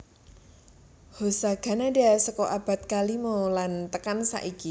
Hosagannada saka abad kalimo las tekan saiki